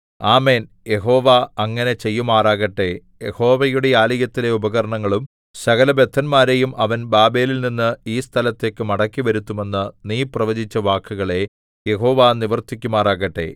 ആമേൻ യഹോവ അങ്ങനെ ചെയ്യുമാറാകട്ടെ യഹോവയുടെ ആലയത്തിലെ ഉപകരണങ്ങളും സകലബദ്ധന്മാരെയും അവൻ ബാബേലിൽനിന്നു ഈ സ്ഥലത്തേക്ക് മടക്കിവരുത്തുമെന്ന് നീ പ്രവചിച്ച വാക്കുകളെ യഹോവ നിവർത്തിക്കുമാറാകട്ടെ